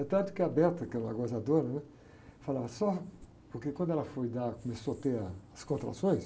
É tarde que a, que é uma, né? Falava, só, porque quando ela foi dar, começou a ter as contrações